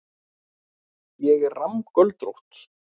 Ég er rammgöldrótt.